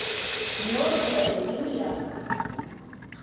мерзлая земля